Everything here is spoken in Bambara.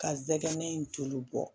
Ka zɛgɛn in tulu bɔ